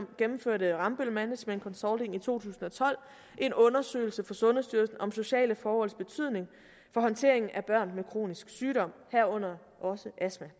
gennemførte rambøll management consulting i to tusind og tolv en undersøgelse for sundhedsstyrelsen om sociale forholds betydning for håndteringen af børn med kronisk sygdom herunder også astma